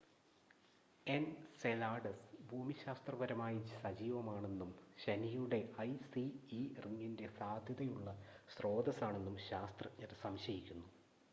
Enceladus ഭൂമിശാസ്ത്രപരമായി സജീവമാണെന്നും ശനിയുടെ ഐസി ഇ റിങ്ങിൻ്റെ സാധ്യതയുള്ള സ്രോതസാണെന്നും ശാസ്ത്രജ്ഞർ സംശയിക്കുന്നു